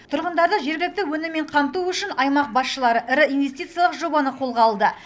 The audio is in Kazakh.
тұрғындарды жергілікті өніммен қамту үшін аймақ басшылары ірі инвестициялық жобаны қолға алды